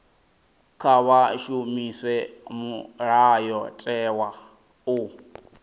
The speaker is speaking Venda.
kha vha shumise mulayotewa u